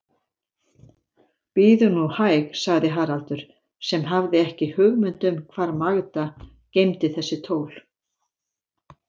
Bíðum nú hæg, sagði Haraldur, sem hafði ekki hugmynd um hvar Magda geymdi þessi tól.